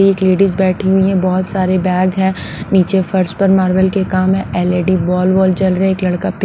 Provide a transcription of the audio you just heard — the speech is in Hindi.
एक लेडीज बैठी हुई है बहुत सारे बैग हैं नीचे फर्स्ट पर मार्बल के काम है एलईडी बॉल बॉल चल रहे हैं एक लड़का।